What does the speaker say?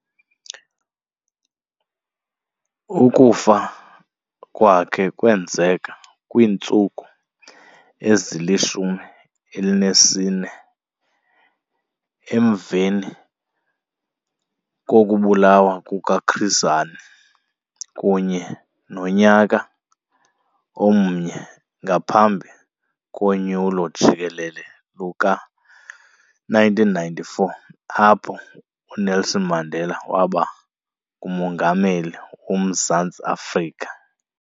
Ukufa kwakhe kwenzeka kwiintsuku ezili-14 emveni kokubulawa kukaChris Hani kunye nonyaka omnye ngaphambi konyulo jikelele luka-1994 apho uNelson Mandela waba nguMongameli woMzantsi Afrika.